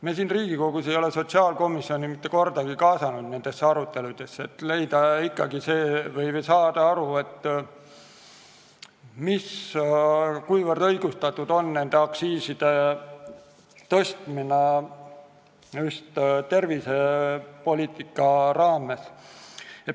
Me Riigikogus ei ole sotsiaalkomisjoni mitte kordagi nendesse aruteludesse kaasanud, kuigi oleks vaja aru saada, kuivõrd õigustatud on aktsiiside tõstmine just tervisepoliitika raames.